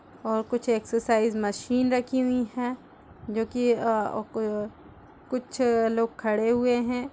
और कुछ exercise machine रखी हुई है जो की अ कुछ लोग खडे हुए है।